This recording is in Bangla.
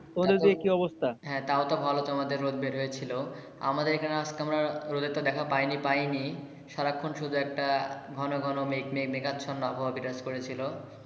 তোমাদের ওই দিকে কি অবস্থা? হ্যা তাও তো তোমাদের রোদ বের হয়েছিলো আমাদের এখানে আজকে আমরা রোদের তো দেখা পাইনি পাইনি সারাক্ষণ শুধু একটা ঘন ঘন মেঘাচ্ছন্ন আবহাওয়া বিরাজ করেছিল।